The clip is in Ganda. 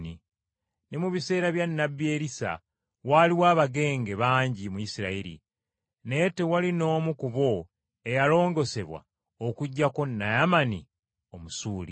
Ne mu biseera bya nnabbi Erisa waaliwo abagenge bangi mu Isirayiri, naye tewali n’omu ku bo eyalongoosebwa okuggyako Naamani Omusuuli.”